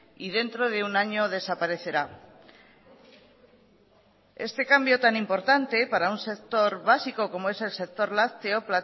y dentro de un año desaparecerá este cambio tan importante para un sector básico como es el sector lácteo